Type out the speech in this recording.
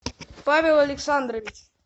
павел александрович